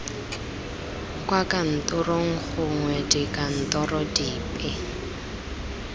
kwa kantorong gongwe dikantorong dipe